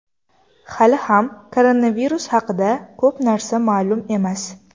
Hali ham koronavirus haqida ko‘p narsa ma’lum emas.